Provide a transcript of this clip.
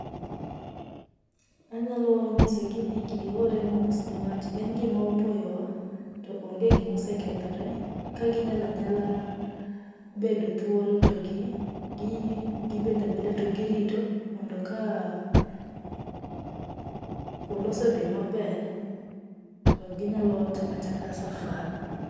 Anyalo nyisogi ni gihore mos niwach en gima opoyowa, to onge gimaosekethore ka ginyalo anyala bedo thuolo to gi gii gibedo abeda to girito mondo ka polo osedhi maber, to ginyalo chako achaka safar.